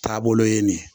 Taabolo ye nin ye